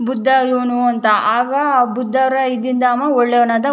ಬುದ್ಧ ಇವನು ಅಂತ ಆಗ ಬುದ್ಧರ ಇದಿಂದ ಅವ ಒಳ್ಳೆಯವನಾದ --